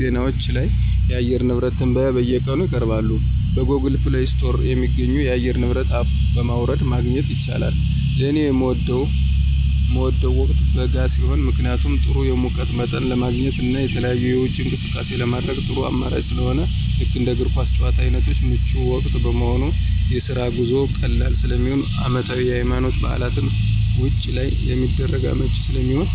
ዜናዎች ላይ የአየር ንብረት ትንበያ በየቀኑ ይቀርባሉ። በGoogle Play ስቶር የሚገኙ የአየር ንብረት አፖች በማውረድ ማግኘት ይቻላል። ለኔ ምወደው ወቅት በጋ ሲሆን ምክንያቱም ጥሩ የሙቀት መጠን ለማግኘት እና የተለያዩ የውጪ እንቅስቃሴዎችን ለማድረግ ጥሩ አማራጭ ስለሆነ ልክ እንደ እግር ኳስ ጭዋታ አይነቶች ምቹ ወቅት በመሆኑ፣ የስራ ጉዞ ቀላል ስለሚሆን፣ አመታዊ የሀይማኖታዊ በዓላትን ውጭ ላይ ለማድረግ አመቺ ስለሚሆን።